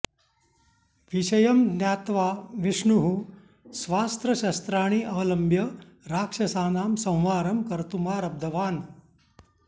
विषयं ज्ञात्वा विष्णुः स्वास्त्रशस्त्राणि अवलम्ब्य राक्षसानां संहारं कर्तुमारब्धवान्